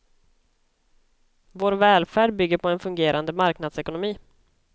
Vår välfärd bygger på en fungerande marknadsekonomi.